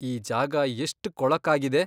ಈ ಜಾಗ ಎಷ್ಟ್ ಕೊಳಕಾಗಿದೆ.